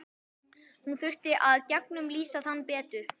Hún þurfi að gegnumlýsa hann betur.